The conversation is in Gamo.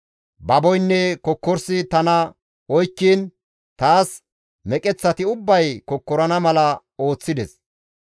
Baboynne kokkorsi tana oykkiin, taas meqeththati ubbay kokkorana mala ooththides.